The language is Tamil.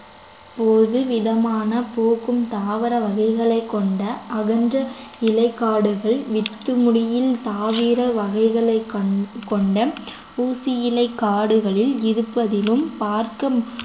பொதுவிதமான போக்கும் தாவர வகைகளை கொண்ட அகன்ற இலைக்காடுகள் வித்துமுடியின் தாவர வகைகளை கொண்~ கொண்ட ஊசியிலை காடுகளில் இருப்பதிலும் பார்க்க